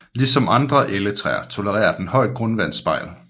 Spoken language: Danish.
Ligesom andre Elletræer tolererer den højt grundvandsspejl